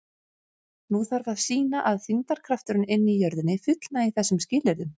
Nú þarf að sýna að þyngdarkrafturinn inni í jörðinni fullnægi þessum skilyrðum.